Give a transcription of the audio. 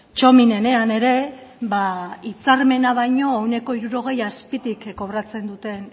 txomin enean ere ba hitzarmena baino ehuneko hirurogei azpitik kobratzen duten